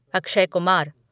Akshay Kumar